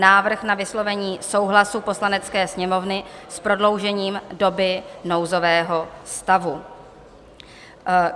Návrh na vyslovení souhlasu Poslanecké sněmovny s prodloužením doby nouzového stavu